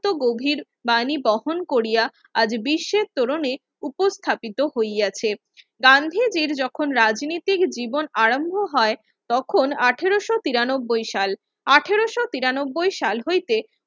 যত গভীর বাণী বহন করিয়া আজ বিশ্বের তরুণে উপস্থাপিত হইয়াছে গান্ধীজির যখন রাজনীতিক জীবন আরম্ভ হয় তখন আঠারোশো তিরানব্বই সাল আঠারোশো তিরানব্বই সাল হইতে